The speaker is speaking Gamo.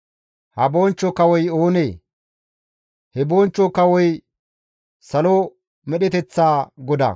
Ha Bonchcho Kawoy oonee? He Bonchcho Kawoy salo medheteththa GODAA!